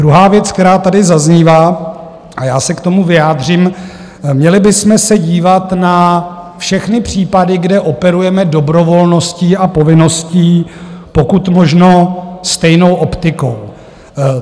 Druhá věc, která tady zaznívá, a já se k tomu vyjádřím, měli bychom se dívat na všechny případy, kde operujeme dobrovolností a povinností, pokud možno stejnou optikou.